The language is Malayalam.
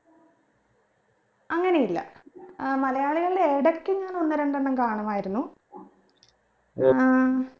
അങ്ങനെയല്ല ഏർ മലയാളികളുടെ ഏതൊക്കെയാണ് ഒന്ന് രണ്ടെണ്ണം കാണുമായിരുന്നു ഏർ